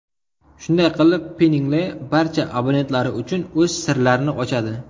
Shunday qilib, Pinngle barcha abonentlari uchun o‘z sirlarni ochadi!